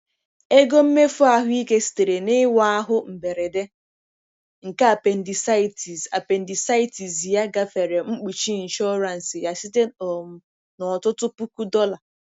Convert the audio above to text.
Ego mmefu ahụike sitere na-ịwa ahụ mberede nke appendicitis appendicitis ya gafere mkpuchi ịnshọransị ya site um na ọtụtụ puku dollar.